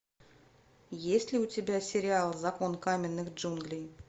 есть ли у тебя сериал закон каменных джунглей